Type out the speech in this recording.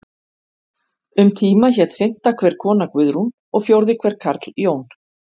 Um tíma hét fimmta hver kona Guðrún og fjórði hver karl Jón.